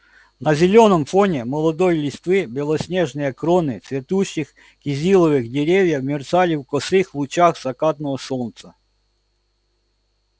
на зелёном фоне молодой листвы белоснежные кроны цветущих кизиловых деревьев мерцали в косых лучах закатного солнца